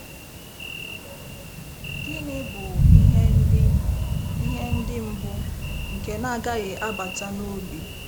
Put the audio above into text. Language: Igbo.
Gịnị bụ "ihe ndi "ihe ndi mbụ" "nke na-agaghị 'abata n'obi''?